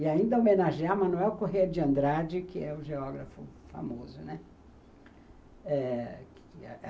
E ainda homenagear Manuel Corrêa de Andrade, que é o geógrafo famoso, né. É.